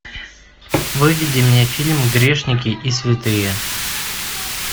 выведи мне фильм грешники и святые